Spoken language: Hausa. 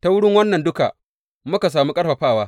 Ta wurin wannan duka, muka sami ƙarfafawa.